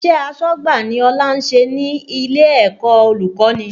Iṣẹ́ asọ́gbà ni Ọlá ń ṣe ní ilé ẹ̀kọ́ olùkọ́ni